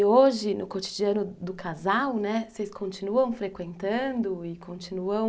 E hoje, no cotidiano do casal, vocês continuam frequentando e continuam